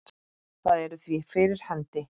Það er því fyrir hendi.